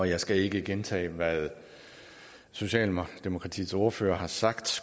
jeg skal ikke gentage hvad socialdemokratiets ordfører har sagt